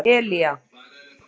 Elía